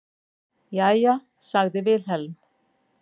Jæja, sagði Vilhelm.